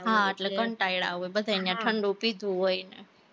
હા એટલે કંટાળા હોય, બધાની ન્યા ઠંડુ પીધું હોય ને